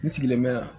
N sigilen bɛ yan